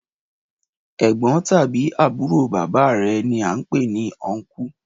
Ẹ̀gbọ́n tàbí àbúrò bàbá re ni án pé ní ọnkú